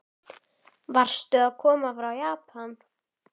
Varstu að koma frá Japan?